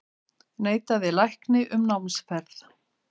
Neitaði lækni um námsferð